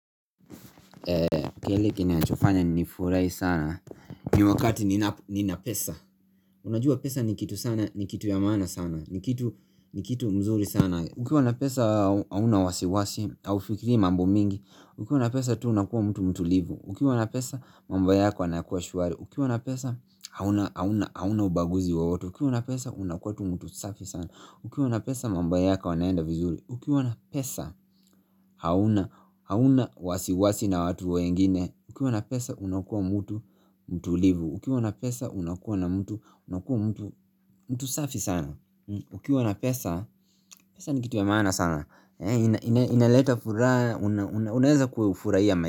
Kile kinachofanya ni furahi sana ni wakati nina pesa Unajua pesa ni kitu sana, ni kitu ya maana sana ni kitu, ni kitu mzuri sana Ukiwa na pesa, hauna wasiwasi Haufikiri mambo mingi Ukiwa na pesa tu unakuwa mtu mtulivu Ukiwa na pesa, mambo yako yanakuwa shwari Ukiwa na pesa, hauna, hauna, hauna ubaguzi wowote Ukiwa na pesa, unakuwa tu mtu safi sana Ukiwa na pesa, mambo yako yanaenda vizuri Ukiwa na pesa, hauna, hauna wasiwasi na watu wengine Ukiwa na pesa, unakua mtu, mtulivu Ukiwa na pesa, unakua na mtu, unakua mtu, mtu safi sana Ukiwa na pesa, pesa ni kitu ya maana sana inaleta furaha, unaeza kufurahia maisha.